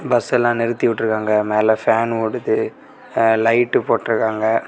Bus எல்லா நிறுத்திவுட்ருக்காங்க மேல ஃபேன் ஓடுது எ லைட்டு போட்ருக்காங்க.